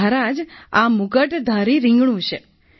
મહારાજ આ મુગટધારી રિંગણું છે